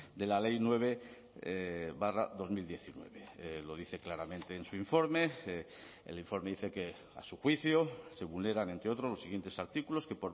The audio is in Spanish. de la ley nueve barra dos mil diecinueve lo dice claramente en su informe el informe dice que a su juicio se vulneran entre otros los siguientes artículos que